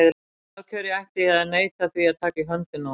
Af hverju ætti ég að neita því að taka í höndina á honum?